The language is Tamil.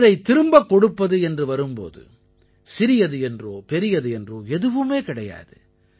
ஒன்றைத் திரும்பக் கொடுப்பது என்று வரும் போது சிறியது என்றோ பெரியது என்றோ எதுவுமே கிடையாது